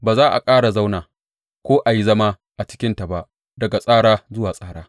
Ba za a ƙara zauna ko a yi zama a cikinta ba daga tsara zuwa tsara.